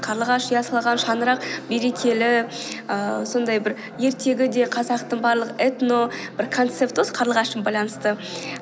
қарлығаш ұя салған шаңырақ берекелі ііі сондай бір ертегі де қазақтың барлық этно бір концепті осы қарлығашпен байланысты